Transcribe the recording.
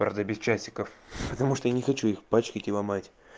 правда без часиков потому что я не хочу их пачкать и ломать